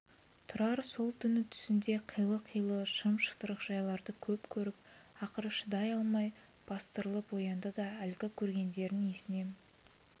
тұрар сол түні түсінде қилы-қилы шым-шытырық жайларды көп көріп ақыры шыдай алмай бастырылып оянды да әлгі көргендерін есіне